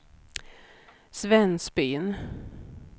Svensbyn